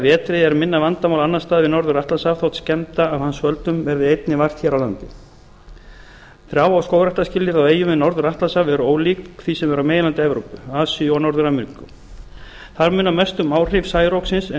vetri er minna vandamál annars staðar við norður atlantshaf þótt skemmda af hans völdum verði einnig vart hér á landi trjá og skógræktarskilyrði á eyjum við norður atlantshaf eru ólík því sem er á meginlandi evrópu asíu og norður ameríku þar munar mest um áhrif særoksins en